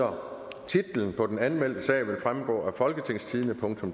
og tre titlen på den anmeldte sag vil fremgå af folketingstidende